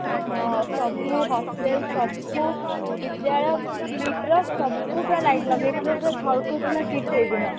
ହଁ ସବୁ hostel ସବୁ ବିଦ୍ୟାଳୟ KIIT ର ସବୁଜାଗା light ଲଗେଇଥିଲେ ସେ ଝଲକୁଥିଲା KIIT ସେଇଦିନ